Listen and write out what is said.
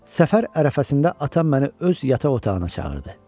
Səfər ərəfəsində atam məni öz yataq otağına çağırdı.